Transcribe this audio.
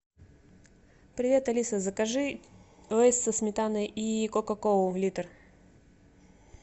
привет алиса закажи лейс со сметаной и кока колу литр